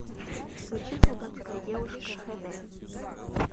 включи солдатская девушка хд